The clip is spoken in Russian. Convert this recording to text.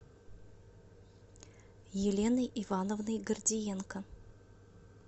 еленой ивановной гордиенко